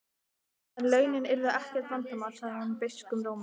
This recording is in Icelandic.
En launin yrðu ekkert vandamál, sagði hún beiskum rómi.